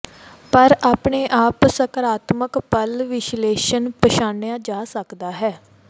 ਪਰ ਆਪਣੇ ਆਮ ਸਕਾਰਾਤਮਕ ਪਲ ਵਿਸ਼ਲੇਸ਼ਣ ਪਛਾਣਿਆ ਜਾ ਸਕਦਾ ਹੈ